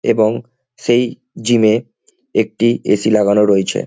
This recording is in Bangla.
এবং সেই জিমে এ একটি এ_সি লাগানো রয়েছে।